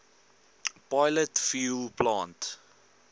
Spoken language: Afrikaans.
pilot fuel plant